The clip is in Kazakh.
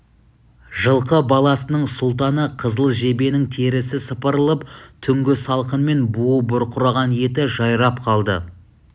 жылқы баласының сұлтаны қызыл жебенің терісі сыпырылып түңгі салқынмен буы бұрқыраған еті жайрап қалды